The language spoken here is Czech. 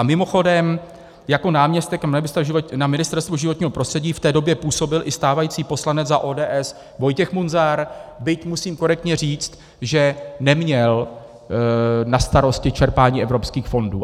A mimochodem, jako náměstek na Ministerstvu životního prostředí v té době působil i stávající poslanec za ODS Vojtěch Munzar, byť musím korektně říct, že neměl na starost čerpání evropských fondů.